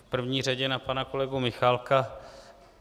V první řadě na pana kolegu Michálka.